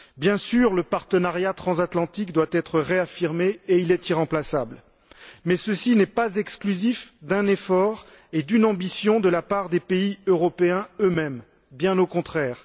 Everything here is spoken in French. Bien sûr, le partenariat transatlantique doit être réaffirmé et il est irremplaçable, mais ceci n'est pas exclusif d'un effort et d'une ambition de la part des pays européens eux mêmes, bien au contraire!